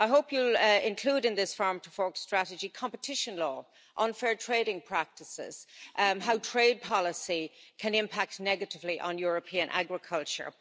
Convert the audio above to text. I hope you'll include in this Farm to Fork Strategy competition law, unfair trading practices, and how trade policy can impact negatively on European agriculture.